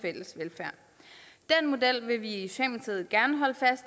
model vil vi